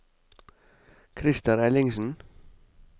Krister Ellingsen